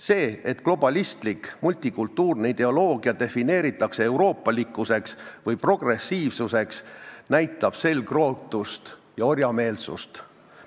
See, et globalistlik multikultuurne ideoloogia defineeritakse euroopalikkuseks või progressiivsuseks, näitab selgrootust ja orjameelsust.